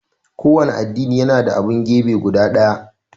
kowanne addini yana da abun gebe guda ɗaya